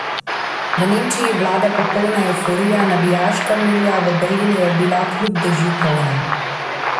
V Nemčiji vlada popolna evforija, navijaška milja v Berlinu je bila kljub dežju polna.